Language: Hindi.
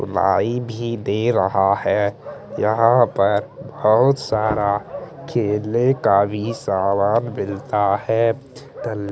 वाइ भी दे रहा है यहाँ पर बोहत सारा खेलने का भी सामान मिलता है दल --